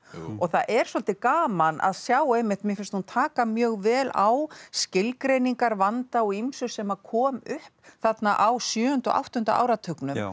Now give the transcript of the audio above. og það er svolítið gaman að sjá einmitt mér finnst hún taka mjög vel á skilgreiningarvanda á ýmsu sem kom upp þarna á sjöunda og áttunda áratugnum